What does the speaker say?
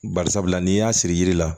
Bari sabula n'i y'a siri yiri la